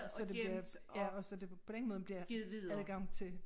Så det bliver og så det på den måde bliver adgang til